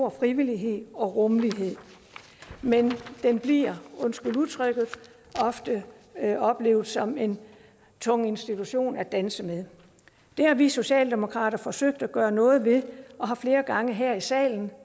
af frivillighed og rummelighed men den bliver undskyld udtrykket ofte oplevet som en tung institution at danse med det har vi i socialdemokratiet forsøgt at gøre noget ved og flere gange her i salen